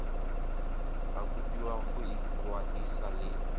ba kopiwa go ikwadisa le